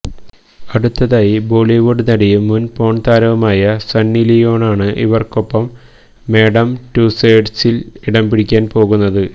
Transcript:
അടുത്തതായി ബോളിവുഡ് നടിയും മുന് പോണ് താരവുമായ സണ്ണിലിയോണാണ് ഇവര്ക്കൊപ്പം മാഡം ടുസേഡ്സില് ഇടംപിടിക്കാന് പോകുന്നത്